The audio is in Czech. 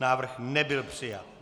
Návrh nebyl přijat.